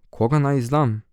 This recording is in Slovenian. Koga naj izdam?